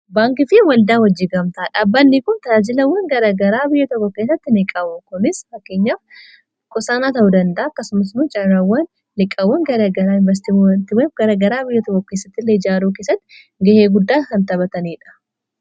Baankii fi waldaa hojii gamtaa, dhaabbannii kun talaajilawwan garagaraa biyya tokko keessatti ni qaba. Kunis fakkeenyaaf qusaanaa ta'uu danda,a akkasumas carraawwan liqaawwan garagaraa, invastimantii garagaraa biyya tokkoo keessatti ille ijaaruu keessatti ga'ee guddaa kan taphataniidha.